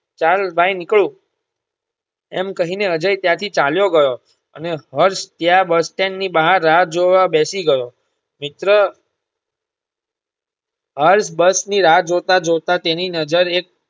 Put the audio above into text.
ચાલ bye નીકળું એમ કહી ને અજય ત્યાં થી ચાલ્યો ગયો અને હર્ષ ત્યાં bus stand ની બહાર રાહ જોવા બેસી ગયો. મિત્ર હર્ષ બસની રાહ જોતા જોતા તેની નજર એક